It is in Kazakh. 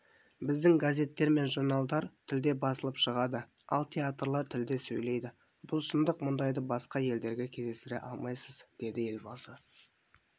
біздің газеттер мен журналдар тілде басылып шығады ал театрлар тілде сөйлейді бұл шындық мұндайды басқа елдерде кездестіре алмайсыз деді елбасы